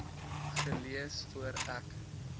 gelees voor ek